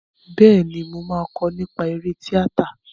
Bẹ́ẹ̀ni, mo máa kọ́ nípa eré tíátà.